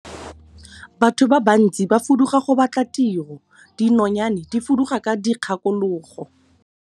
Batho ba bantsi ba fuduga go batla tiro, dinonyane di fuduga ka dikgakologo.